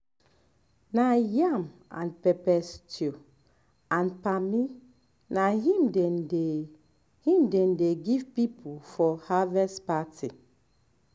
for central area we dey grind groundnut wey we take dey cook soup con eat am with with tuwo